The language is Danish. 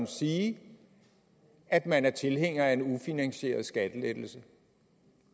sige at man er tilhænger af en ufinansieret skattelettelse